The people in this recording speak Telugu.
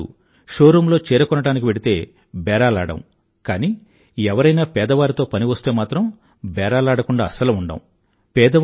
ఇంతేకాదు షోరూమ్ లో చీర కొనడానికి వెళ్తే బేరాలాడం కానీ ఎవరైనా పేదవారితో పని వస్తే మాత్రం బేరాలాడ కుండా అస్సలు ఉండం